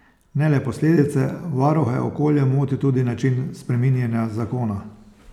Ne le posledice, varuhe okolja moti tudi način spreminjanja zakona.